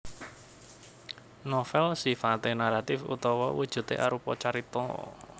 Novèl sifaté naratif utawa wujudé arupa carita